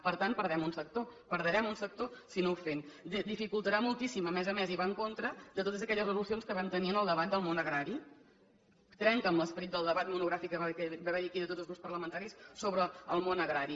per tant perdem un sector perdrem un sector si no ho fem dificultarà moltíssim a més a més i va en contra de totes aquelles resolucions que vam tenir en el debat del món agrari trenca amb l’esperit del debat monogràfic que va haver hi aquí de tots els grups parlamentaris sobre el món agrari